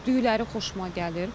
Düyləri xoşuma gəlir.